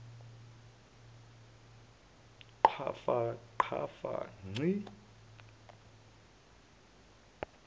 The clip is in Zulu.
qhafa qhafa ngci